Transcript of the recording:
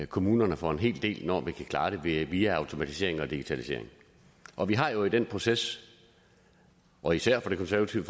kommunerne for en hel del når vi kan klare det via automatiseringen og digitaliseringen og vi har jo i den proces og især fra det konservative